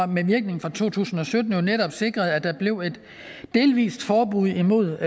med virkning fra to tusind og sytten netop sikrede at der blev et delvist forbud imod